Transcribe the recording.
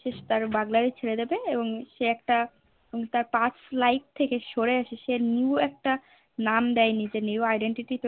সে তার Burglary ছেড়ে দেবে এবং সে একটা তার Past life থেকে সরে এসে New একটা নাম দিয়ে নিজেকে New identity